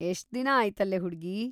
ಎಷ್ಟ್‌ ದಿನ ಆಯ್ತಲೇ ಹುಡ್ಗೀ.